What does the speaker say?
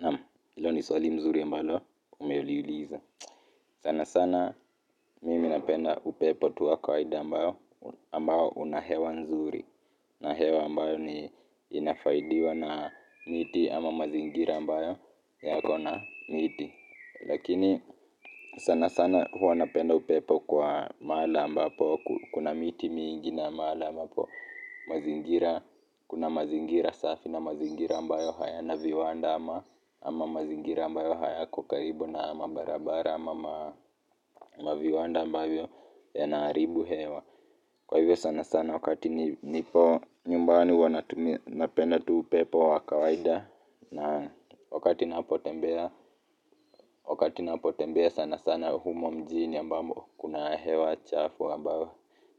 Naam, hilo ni swali mzuri ambalo umeuliuliza. Sana sana, mimi napenda upepo tu wa kawaida ambao, ambao unahewa mzuri. Na hewa ambayo ni inafaidiwa na miti ama mazingira ambayo yako na miti. Lakini sana sana huwa napenda upepo kwa mahala ambapo, kuna miti mingi na mahala. Ambapo mazingira, kuna mazingira safi na mazingira ambayo hayana viwanda ama ama mazingira ambayo hayako karibu na mabarabara ama maviwanda ambavyo yanaharibu hewa kwa hivyo sana sana wakati nipo nyumbani huwa napenda tu upepo wa kawaida na wakati napotembea sana sana humo mjini ambamo kuna hewa chafu ambayo